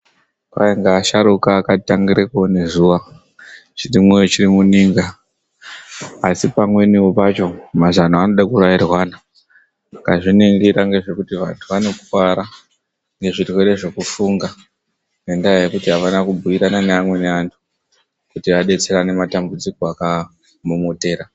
Kwai ngeasharuka akatitangira kuone zuwa chirimumoyo chiri muninga. Asi pamweniwo pacho, mazano anode kurairwana. Ukazviningira ngezvekuti vantu vanokuvara ngezvirwere zvekufunga, ngendaa yekuti havana kubhuirana neamweni antu, kuti adetserane matambudziko akaamomotera.